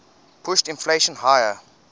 pushed inflation higher